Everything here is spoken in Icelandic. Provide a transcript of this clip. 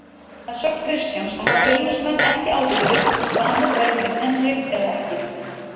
Að sögn Kristjáns hafa Fjölnismenn ekki ákveðið hvort samið verði við Henrik eða ekki.